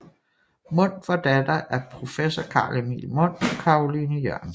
Mundt var datter af professor Carl Emil Mundt og Caroline Jørgensen